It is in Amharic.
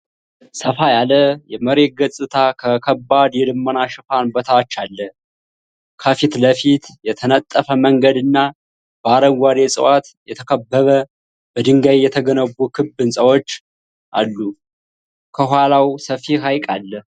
ሰፋ ያለ የመሬት ገጽታ ከከባድ የደመና ሽፋን በታች አለ። ከፊት ለፊት፣ የተነጠፈ መንገድ እና በአረንጓዴ እፅዋት የተከበበ በድንጋይ የተገነቡ ክብ ሕንፃዎች አሉ። ከኋላው ሰፊ ሐይቅ አለ።